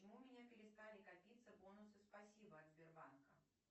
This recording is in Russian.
почему у меня перестали копиться бонусы спасибо от сбербанка